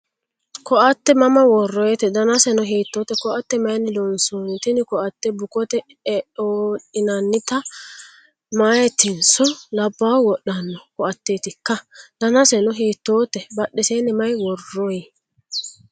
Koatte mama worroyiite? Danaseno hiittote? Koatte mayiinni loonsanni? Tini koatte bukote eodhinannite? Meyaatinso labbaahu wodhanno koatteetikka? Danaseno hiittote? Badheeseni ma worroyi?